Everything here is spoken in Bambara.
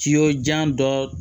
Kiyɔ jan dɔ